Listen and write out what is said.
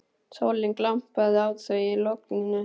Sólin glampaði á þau í logninu.